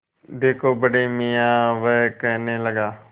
देखो बड़े मियाँ वह कहने लगा